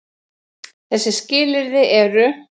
Þessi skilyrði eru: